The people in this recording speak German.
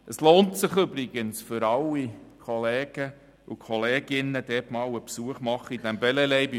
Es lohnt sich übrigens für alle, Kolleginnen und Kollegen, dem Gebäude in Bellelay einmal einen Besuch abzustatten.